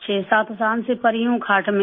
7 سال سے پڑی ہوں کھاٹ پر